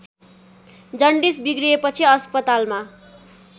jaundice बिग्रिएपछि अस्पतालमा